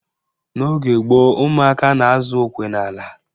N'oge gboo, umụaka na-azụ okwe n'ala.